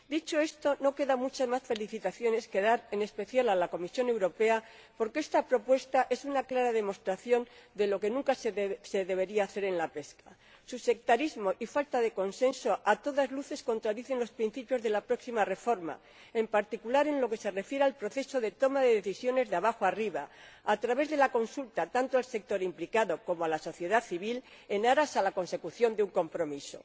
Dicho esto, no quedan muchas más felicitaciones que dar, en especial a la Comisión Europea, porque esta propuesta es una clara demostración de lo que nunca se debería hacer en la pesca. Su sectarismo y falta de consenso a todas luces contradicen los principios de la próxima reforma, en particular en lo que se refiere al proceso de toma de decisiones de abajo arriba, a través de la consulta —tanto al sector implicado como a la sociedad civil—, en aras de la consecución de un compromiso.